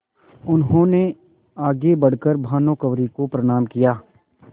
उन्होंने आगे बढ़ कर भानुकुँवरि को प्रणाम किया